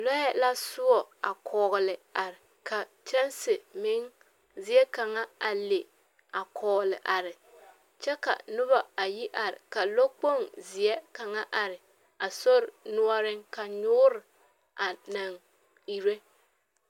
Lɔɛ la soɔ a kɔgele, ka a kyɛnse meŋ zie kaŋa a le a kɔɔle are, kyɛ noba ayi are, ka lɔɔkpoŋ zeɛ kaŋa are a sori noɔreŋ ka nyoore anaŋ ire.